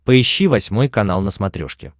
поищи восьмой канал на смотрешке